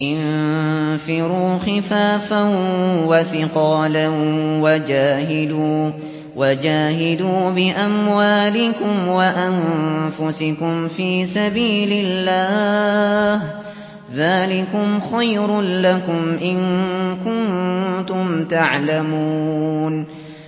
انفِرُوا خِفَافًا وَثِقَالًا وَجَاهِدُوا بِأَمْوَالِكُمْ وَأَنفُسِكُمْ فِي سَبِيلِ اللَّهِ ۚ ذَٰلِكُمْ خَيْرٌ لَّكُمْ إِن كُنتُمْ تَعْلَمُونَ